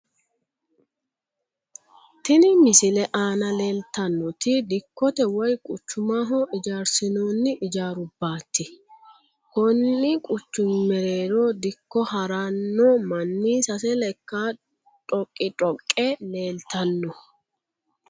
Tini misile aana leeltannoti dikkote woy quchumaho ijaarsinoonni ijaarubbaati konni quchumi mereero dikko haranno manni sase lekka dhoqii dhoqqe leeltanno.